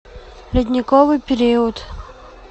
ледниковый период